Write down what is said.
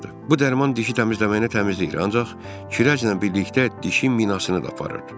Bu dərman dişi təmizləməyini təmizləyir, ancaq kirəclə birlikdə dişi minasını da aparır.